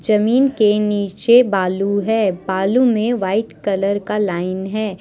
जमीन के नीचे बालू है बालू में वाइट कलर का लाइन है।